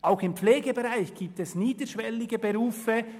Auch im Pflegebereich gibt es niederschwellige Ausbildungen.